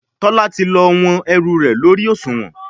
Tola ti lọ wón ẹrù rẹ lórí Òṣùwọ̀n.